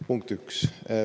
Punkt üks.